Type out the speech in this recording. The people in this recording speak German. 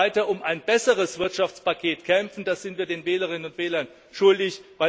Wir werden weiter um ein besseres Wirtschaftspaket kämpfen. Das sind wir den Wählerinnen und Wählern schuldig.